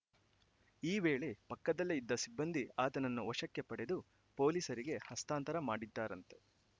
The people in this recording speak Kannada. ಈ ವೇಳೆ ಪಕ್ಕದ್ದಲ್ಲೇ ಇದ್ದ ಸಿಬ್ಬಂದಿ ಆತನನ್ನು ವಶಕ್ಕೆ ಪಡೆದು ಪೊಲೀಸರಿಗೆ ಹಸ್ತಾಂತರ ಮಾಡಿದ್ದಾರಂತೆ